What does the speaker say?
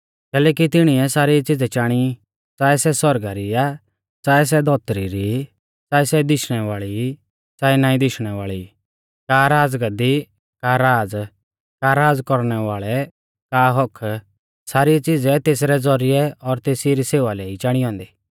कैलैकि तिणिऐ सारी च़ीज़ै चाणी च़ाऐ सै सौरगा री आ च़ाऐ सै धौतरी री च़ाऐ सै दिशणै वाल़ी ई च़ाऐ नाईं दिशणै वाल़ी ई का राज़गद्दी का राज़ का राज़ कौरणै वाल़ै का हक्क्क सारी च़ीज़ै तेसरै ज़ौरिऐ और तेसी री सेवा लै ई चाणी औन्दी